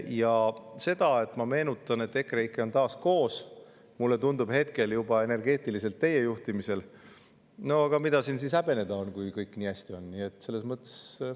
Ja see, et ma, et EKREIKE on taas koos, mulle tundub hetkel juba, et energeetiliselt teie juhtimisel – no aga mida siin siis häbeneda on, kui kõik nii hästi on?